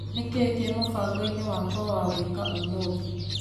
Nĩkĩĩ kĩ mũbangoinĩ wakwa wa gwĩka ũmũthĩ .